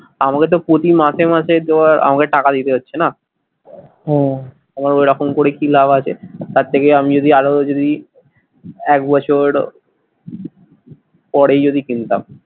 আমাকে তো প্রতি মাসে মাসে দেয়ার আমাকে টাকা দিতে হচ্ছে না হম তো এরকম করে কি লাভ আছে তার থেকে আমি যদি আরো যদি একবছর পরে যদি কিনতাম,